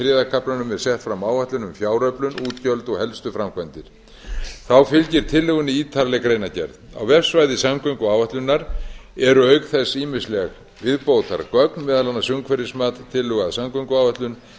kaflanum er sett fram áætlun um fjáröflun útgjöld og helstu framkvæmdir þá fylgir tillögunni ítarleg greinargerð á vefsvæði samgönguáætlunar eru auk þess ýmisleg viðbótargögn meðal annars umhverfismat tillögu að samgönguáætlun